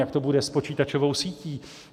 Jak to bude s počítačovou sítí?